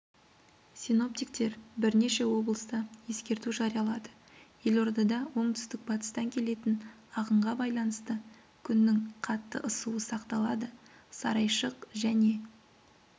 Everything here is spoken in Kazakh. синоптиктер бірнеше облыста ескерту жариялады елордада оңтүстік-батыстан келетін ағынға байланысты күннің қатты ысуы сақталады сарайшық және